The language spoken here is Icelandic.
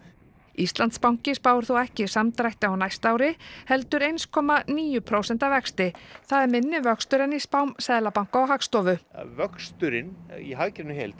Íslandsbanki spáir þó ekki samdrætti á næsta ári heldur eitt komma níu prósenta vexti það er minni vöxtur en í spám Seðlabanka og Hagstofu vöxturinn í hagkerfinu í heild